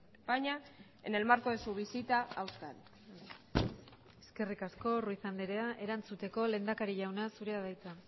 españa en el marco de su visita a euskadi eskerrik asko ruiz andrea erantzuteko lehendakari jauna zurea da hitza